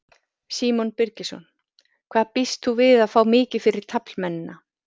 Símon Birgisson: Hvað býst þú við að fá mikið fyrir taflmennina?